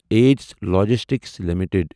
Aegis Logistics limited